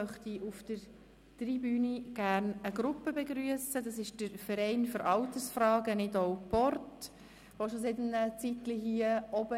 Es sind Gäste von Grossrat Christian Bachmann, und sie sitzen schon seit einiger Zeit dort oben.